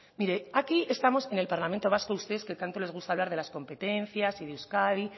mire aquí estamos en el parlamento vasco a ustedes que tanto les gusta hablar de las competencias y de euskadi